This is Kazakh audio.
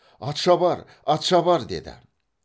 атшабар атшабар деді